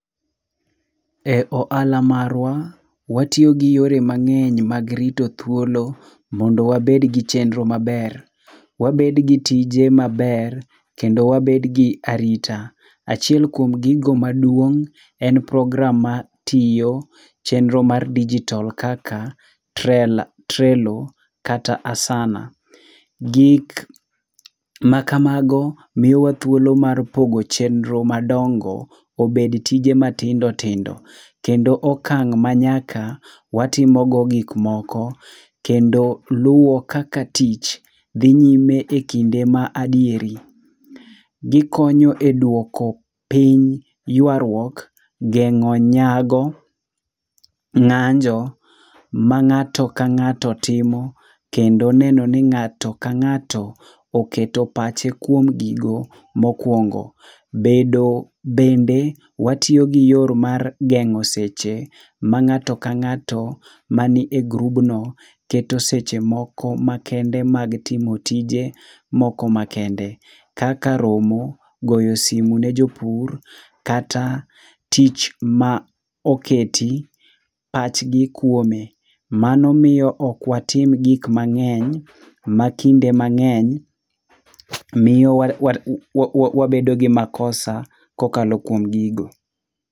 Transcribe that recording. E ohala marwa, watiyo gi yore mang'eny mag rito thuolo mondo wabed gi chenro maber. Wabed gi tije maber kendo wabed gi arita. Achiel kuom gigo maduong' en program [c s6 matiyo, chenro mar dijitol kaka trela trelo kata asana. Gik makamago miyowa thuolo mar pogo chenro madongo obed tije matindo tindo, kendo okang' manyaka watimogo gik moko kendo luwo kaka tich dhi nyime ekinde ma adieri. Gikonyo eduoko piny yuaruok, geng'o nyago, ng'anjo ma ng'ato ka ng'ato timo kendo neno ni ng'ato ka ng'ato oketo pache ekuom gigo mokuongo. Bedo bende watiyo gi yorno mar geng'o seche ma ng'ato ka ng'ato man e grubno keto seche moko makende mag timo tije moko makende. Kaka romo, goyo sime ne jopur kata tich ma oketi pachgi kuom. Mano miyo ok watim gik mang'eny, makinde mang'eny miyo wari wawa wabedo gi makosa kokalo kuom gigo.